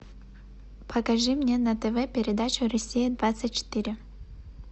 покажи мне на тв передачу россия двадцать четыре